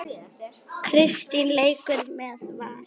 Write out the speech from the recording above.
Kristín leikur með Val.